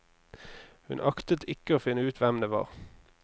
Hun aktet ikke å finne ut hvem det var.